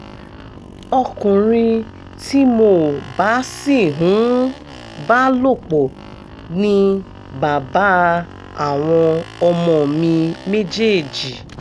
ọkùnrin tí mo bá sì ń bá lòpọ̀ ni bàbá àwọn ọmọ mi méjèèjì